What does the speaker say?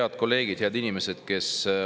Head kolleegid!